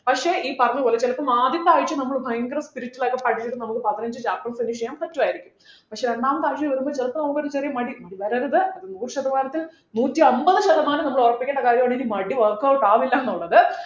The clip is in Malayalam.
പക്ഷേ ഈ പറഞ്ഞ പോലെ ചിലപ്പം ആദ്യത്തെ ആഴ്ച നമ്മൾ ഭയങ്കര spirit ലായിരിക്കും പഠിച്ചിട്ട് നമുക്ക് പതിനഞ്ചു chapter ഉം finish ചെയ്യാൻ പറ്റുമായിരിക്കും പക്ഷേ രണ്ടാമത്തെ ആഴ്ച വരുമ്പോ ചെലപ്പോ നമുക്കൊരു ചെറിയ മടി മടി വരരുത് അത് നൂറുശതമാനത്തിൽ നൂറ്റമ്പത് ശതമാനം നമ്മൾ ഉറപ്പിക്കേണ്ട കാര്യമാണ് എനിക്ക് മടി workout ആവില്ല എന്നുള്ളത്